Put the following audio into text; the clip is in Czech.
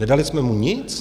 Nedali jsme mu nic?